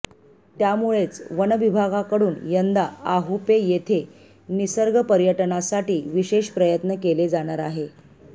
त्यामुळेच वनविभागाकडून यंदा आहुपे येथे निसर्ग पर्यटनासाठी विशेष प्रयत्न केले जाणार आहे